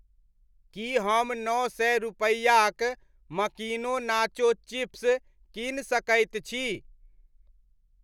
की हम नओ सए रूपैआक मकीनो नाचो चिप्स कीन सकैत छी?